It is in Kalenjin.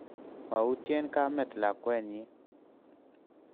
Mautyeen kamet lakwennyi.